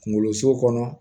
Kunkoloso kɔnɔ